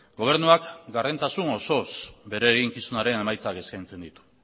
gobernuak gardentasun osoz bere eginkizunaren emaitzak eskaintzen ditu